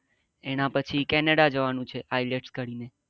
એના પછી canada જવાનું છે. ielts કરી ને